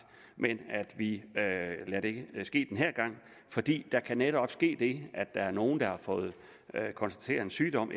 men vi lader det ske den her gang fordi der netop sket det at der er nogle der har fået konstateret en sygdom